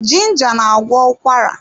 Ginger na-agwọ ụkwara.